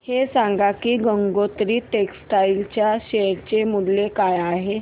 हे सांगा की गंगोत्री टेक्स्टाइल च्या शेअर चे मूल्य काय आहे